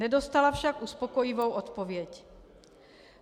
Nedostala však uspokojivou odpověď.